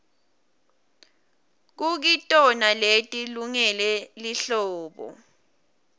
kukitona leti lungele lihlobo